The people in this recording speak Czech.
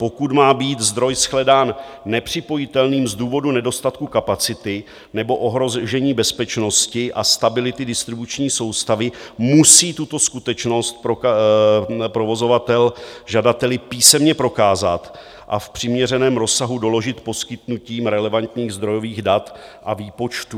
Pokud má být zdroj shledán nepřipojitelným z důvodu nedostatku kapacity nebo ohrožení bezpečnosti a stability distribuční soustavy, musí tuto skutečnost provozovatel žadateli písemně prokázat a v přiměřeném rozsahu doložit poskytnutím relevantních zdrojových dat a výpočtů.